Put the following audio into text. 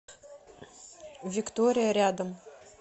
виктория рядом